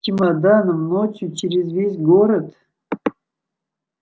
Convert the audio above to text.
чемоданом ночью через весь город